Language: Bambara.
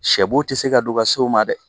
Sɛboo tɛ se ka don ka se o ma dɛ